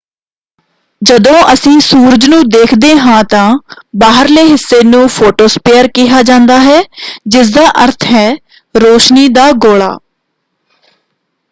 ਜਦੋਂ ਅਸੀਂ ਸੂਰਜ ਨੂੰ ਦੇਖਦੇ ਹਾਂ ਤਾਂ ਬਾਹਰਲੇ ਹਿੱਸੇ ਨੂੰ ਫ਼ੋਟੋਸਪੇਅਰ ਕਿਹਾ ਜਾਂਦਾ ਹੈ ਜਿਸਦਾ ਅਰਥ ਹੈ ਰੋਸ਼ਨੀ ਦਾ ਗੋਲਾ